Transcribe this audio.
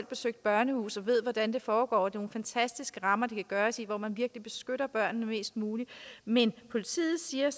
besøgt børnehuse og ved hvordan det foregår det er nogle fantastiske rammer det kan gøres i hvor man virkelig beskytter børnene mest muligt men politiet siger